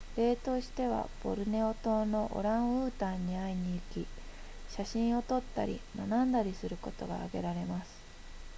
例としてはボルネオ島のオランウータンに会いに行き写真を撮ったり学んだりすることが挙げられます